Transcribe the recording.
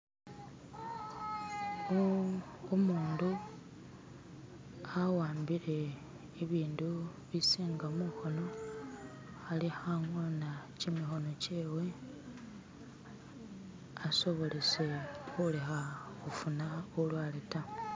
<"skip>" umundu <"skip>" awambile ibindu bisinga mukhono <"skip>" alikhang'oona kimikhono kyewe <"skip>" asobolese khulekha khufuna bulwale ta.